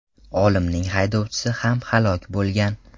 Olimning haydovchisi ham halok bo‘lgan.